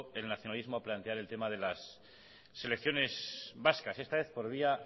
el nacionalismo a plantear el tema de las selecciones vascas esta vez por vía